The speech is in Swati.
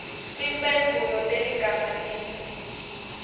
timphendvulo teligama linye